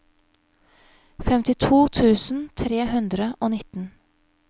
femtito tusen tre hundre og nitten